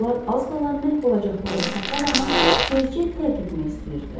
Onlar az qala məhv olacaqları Saxaranı tezca tərk etmək istəyirdilər.